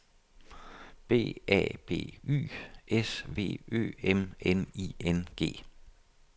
B A B Y S V Ø M N I N G